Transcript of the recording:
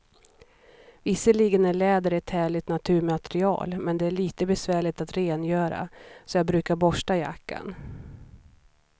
Visserligen är läder ett härligt naturmaterial, men det är lite besvärligt att rengöra, så jag brukar borsta jackan.